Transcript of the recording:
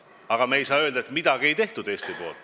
Aga me ei saa öelda, et Eesti midagi ei teinud.